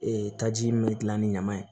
Ee taji min bɛ gilan ni ɲaman ye